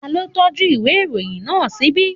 Ta ló tọ́jú ìwé ìròyìn náà ṣíbí?